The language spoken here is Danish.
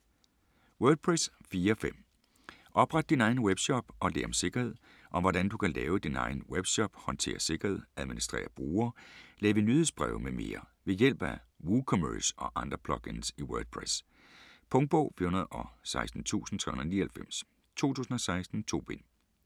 Wordpress 4.5: opret din egen webshop og lær om sikkerhed Om hvordan du kan lave din egen webshop, håndterer sikkerhed, administrerer brugere, laver nyhedsbreve mm. ved hjælp af WooCommerce og andre plugins i WordPress. Punktbog 416399 2016. 2 bind.